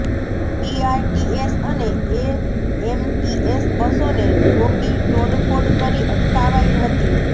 BRTS અને AMTS બસોને રોકી તોડફોડ કરી અટકાવાઈ હતી